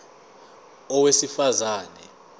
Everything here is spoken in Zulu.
a owesifaz ane